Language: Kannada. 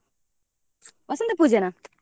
ವಸಂತ ಪೂಜೆನಾ?